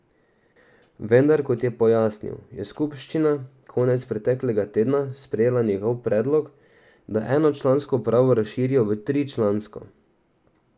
Vendar, kot je pojasnil, je skupščina konec preteklega tedna sprejela njegov predlog, da enočlansko upravo razširijo v tričlansko.